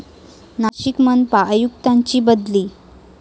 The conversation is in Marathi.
नाशिक मनपा आयुक्तांची बदली